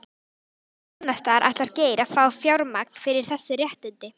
Hvar annarsstaðar ætlar Geir að fá fjármagn fyrir þessi réttindi?